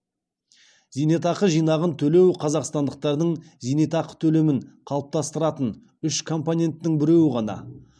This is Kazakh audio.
зейнетақы жинағын төлеу қазақстандықтардың зейнетақы төлемін қалыптастыратын үш компоненттің біреуі ғана